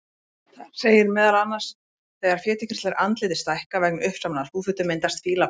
Þar segir meðal annars: Þegar fitukirtlar í andliti stækka vegna uppsafnaðrar húðfitu myndast fílapenslar.